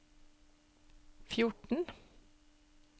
fjorten